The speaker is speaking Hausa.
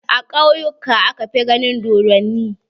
A ƙauyuka aka fi ganin dodonni.